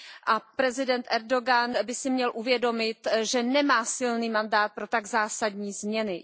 A prezident Erdogan by si měl uvědomit, že nemá silný mandát pro tak zásadní změny.